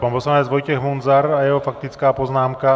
Pan poslanec Vojtěch Munzar a jeho faktická poznámka.